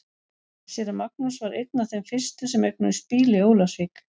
Séra Magnús var einn af þeim fyrstu sem eignuðust bíl í Ólafsvík.